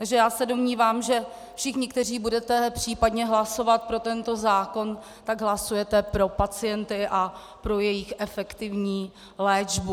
Takže já se domnívám, že všichni, kteří budete případně hlasovat pro tento zákon, tak hlasujete pro pacienty a pro jejich efektivní léčbu.